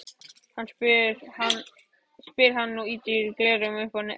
spyr hann og ýtir gleraugunum upp á ennið.